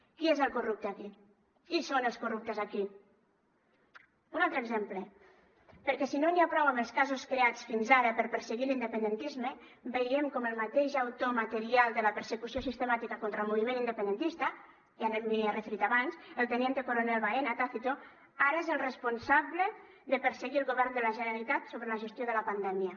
qui és el corrupte aquí qui són els corruptes aquí un altre exemple perquè si no n’hi ha prou amb els casos creats fins ara per perseguir l’independentisme veiem com el mateix autor material de la persecució sistemàtica contra el moviment independentista ja m’hi he referit abans el teniente coronel baena tácito ara és el responsable de perseguir el govern de la generalitat sobre la gestió de la pandèmia